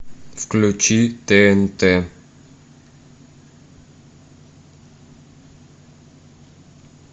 включи тнт